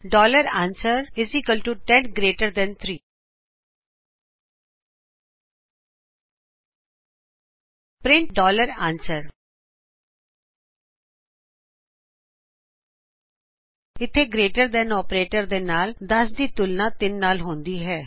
answer 10 GT 3 print answer ਇਥੇ greater than operator ਦੇ ਨਾਲ 10 ਦੀ 3 ਨਾਲ ਤੁਲਨਾ ਹੁੰਦੀ ਹੈ